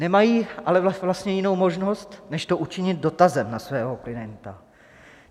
Nemají ale vlastně jinou možnost než to učinit dotazem na svého klienta.